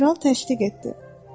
Kral təşdiq etdi.